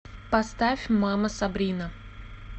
поставь мама сабрина